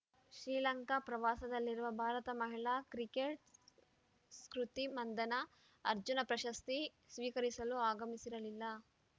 ಶ್ರೀಲಂಕಾ ಪ್ರವಾಸದಲ್ಲಿರುವ ಭಾರತ ಮಹಿಳಾ ಕ್ರಿಕೆಟರ್‌ ಸ್ಮೃತಿ ಮಂಧನಾ ಅರ್ಜುನ ಪ್ರಶಸ್ತಿ ಸ್ವೀಕರಿಸಲು ಆಗಮಿಸಿರಲಿಲ್ಲ